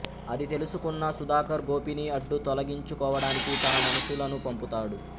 అది తెలుసుకున్న సుధాకర్ గోపీని అడ్డు తొలగించుకోవడానికి తన మనుషులను పంపుతాడు